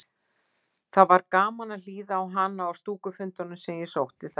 Það var gaman að hlýða á hana á stúkufundunum sem ég sótti þar.